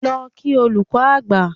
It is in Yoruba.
Lọ kí olùkọ́ àgbà!